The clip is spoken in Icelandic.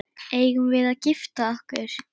Eigum við að gifta okkur?